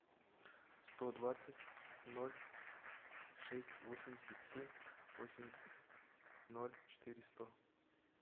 сто двадцать ноль шесть восемьдесят семь восемьдесят ноль четыре сто